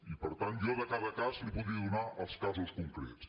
i per tant jo de cada cas li’n podria donar els casos concrets